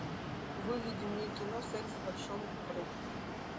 выведи мне кино секс в большом городе